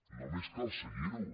només cal seguirho